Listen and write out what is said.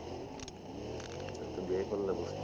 এত দেরি করলে,